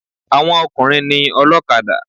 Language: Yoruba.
Àwọn ọkùnrin ni ọlọ́kadà.